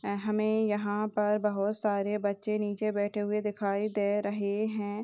हमें यहाँ पर बहुत सारे बच्चे नीचे बैठे हुए दिखाई दे रहे हैं।